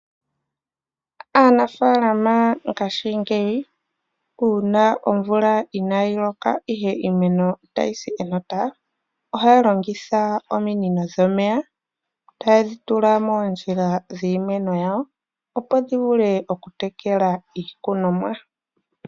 Aanafalama ngashingeyi uuna omvula inayi loka ihe iimeno otayi si kenota, ohaya longitha ominino dhomeya taye dhi tula moondjila dhiimeno yawo. Opo dhi vule okutekela iikunomwa.